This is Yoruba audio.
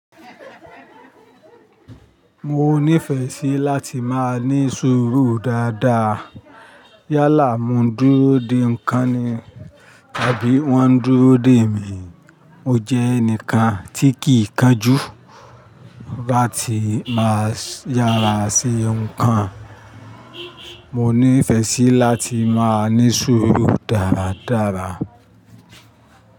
Mo nífẹẹ sí láti máa ní sùúrù dáadáa. Yálà mo n dúró de ǹkan ni tàbí wọ́n ń dúró de mi. Mo jẹ́ ẹnìkan tí kì í kánjú láti máa yára sí ǹkan. Mo nífẹẹ sí láti máa ní sùúrù dáradára.